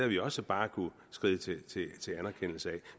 vi også bare kunne skride til anerkendelse af